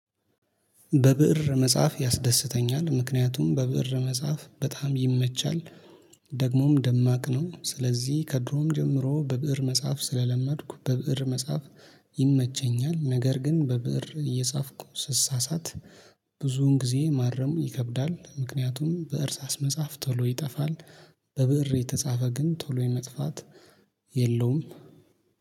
በብእር መጽሐፍ ያስደስተኛል ምክንያቱም በብእር መጽሐፍ በጣም ይመቻል። ደግሞም ደማቅ ነው ስለዚህ ከድሮም ጀምሮ በብእር መጽሐፍ ስለለመድኩ በብእር መጽሐፍ ይመቸኛል ነገር ግን በብእር እየጻፍኩ ስሳሳት። ብዙን ጊዜ ማረም ይከብዳል ምክንያቱም በእርሳስ መጽሐፍ ቶሎ ይጠፋል። በብእር የተጻፈ ግን ቶሎ የመጥፋት የለውም